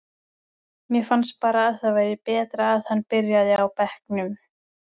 Mér fannst bara að það væri betra að hann byrjaði á bekknum.